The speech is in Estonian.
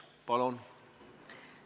Palun!